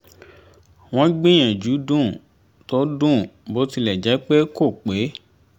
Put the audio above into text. wọ́n gbìyànjú dùn tó dùn bó tilẹ̀ jẹ́ pé kò pé